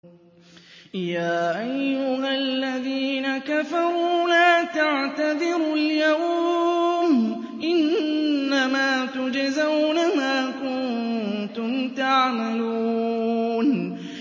يَا أَيُّهَا الَّذِينَ كَفَرُوا لَا تَعْتَذِرُوا الْيَوْمَ ۖ إِنَّمَا تُجْزَوْنَ مَا كُنتُمْ تَعْمَلُونَ